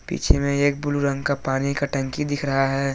इसमें एक ब्लू रंग का पानी का टंकी दिख रहा है।